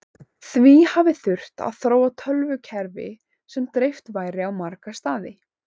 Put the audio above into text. því hafi þurft að þróa tölvukerfi sem dreift væri á marga staði